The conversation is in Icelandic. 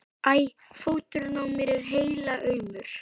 æ. fóturinn á mér er helaumur.